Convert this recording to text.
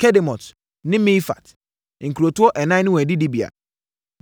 Kedemot ne Mefaat—nkurotoɔ ɛnan ne wɔn adidibea.